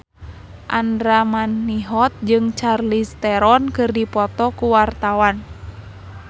Andra Manihot jeung Charlize Theron keur dipoto ku wartawan